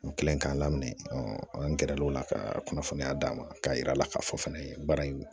N kɛlen k'a lamɛn an gɛrɛ l'o la ka kunnafoniya d'a ma k'a yira a la k'a fɔ fɛnɛ baara in